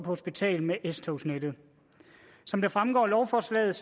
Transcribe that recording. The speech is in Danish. hospital med s togsnettet som det fremgår af lovforslaget